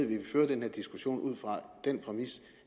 vi fører den her diskussion ud fra den præmis